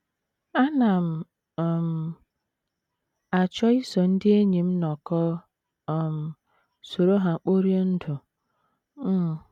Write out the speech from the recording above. Ana m um achọ iso ndị enyi m nọkọọ um, soro ha kporie ndụ. um